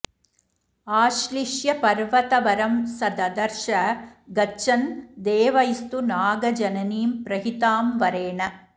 आश्लिष्य पर्वतवरं स ददर्श गच्छन् देवैस्तु नागजननीं प्रहितां वरेण